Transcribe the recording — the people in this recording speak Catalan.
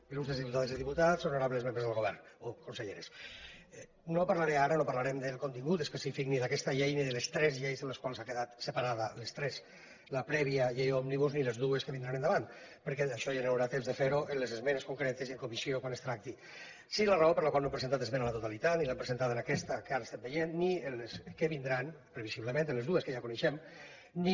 il·lustres diputades i diputats honorables membres del govern o conselleres no parlaré ara no parlarem del contingut específic ni d’aquesta llei ni de les tres lleis en les quals ha quedat separada les tres la prèvia llei òmnibus ni les dues que vindran d’ara endavant perquè d’això ja hi haurà temps de fer ho en les esmenes concretes i en comissió quan es tracti sí la raó per la qual no hem presentat esmena a la totalitat ni l’hem presentada en aquesta que ara estem veient ni en les que vindran previsiblement per les dues que ja coneixem ni